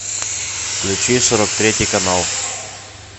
включи сорок третий канал